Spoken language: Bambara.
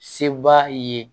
Se b'a ye